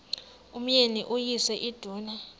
umyeni uyise iduna